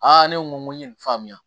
ne ko n ko ye nin faamuya